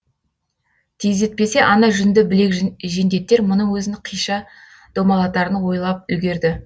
тездетпесе ана жүнді білек жендеттер мұның өзін қиша домалатарын ойлап үлгерді